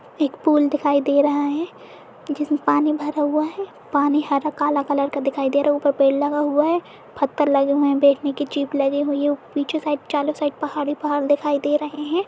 एक पुल दिखाई दे रहा है जिसमें पानी भरा हुआ है। पानी हरा काला कलर का दिखाई दे रहा है। ऊपर पेड़ लगा हुआ है फ़तर लगे हुए हैं बैठने की चिप लगी हुई है। पीछे साइड चालू साइड पहाड़ ही पहाड़ दिखाई दे रहे हैं।